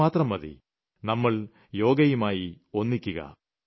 ഇത്രമാത്രം മതി നമ്മൾ യോഗയുമായി ഒന്നിക്കുക